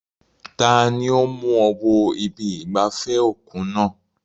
Tani ó mú ọ wọ ibi ìgbafẹ́ òkun náà?